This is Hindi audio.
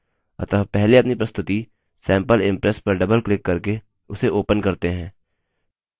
अतः पहले अपनी प्रस्तुति sample impress पर double क्लिक करके उसे open करते हैं